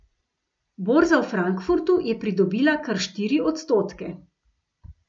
Borza v Frankfurtu je pridobila kar štiri odstotke.